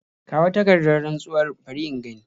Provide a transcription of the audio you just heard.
Kawo takardar rantsuwar bari in gani.